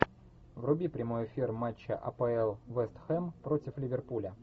вруби прямой эфир матча апл вест хэм против ливерпуля